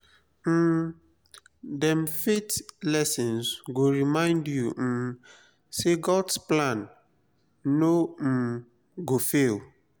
um dem faith lessons go remind yu um say god’s plan no um go fail.